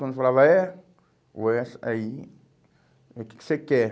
Quando eu falava é, o é, aí é o que que você quer?